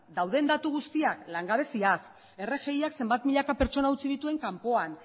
dauden datu guztiak langabezia rgiak zenbat milaka pertsona utzi dituen kanpoan